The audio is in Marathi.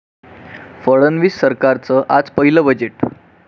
फडणवीस सरकारचं आज पहिलं बजेट